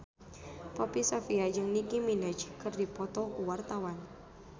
Poppy Sovia jeung Nicky Minaj keur dipoto ku wartawan